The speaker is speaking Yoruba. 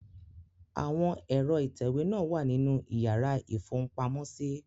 Àwọn ẹ̀rọ ìtẹ̀wé wà nínú ìyàrá ìfohunpamọ́sí.